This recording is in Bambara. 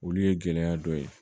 Olu ye gɛlɛya dɔ ye